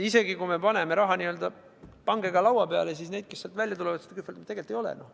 Isegi kui me paneme raha pangega laua peale, siis neid, kes välja tulevad seda kühveldama, tegelikult ei ole.